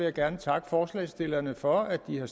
jeg gerne takke forslagsstillerne for at de har